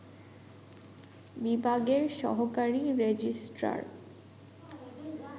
বিভাগের সহকারী রেজিস্ট্রার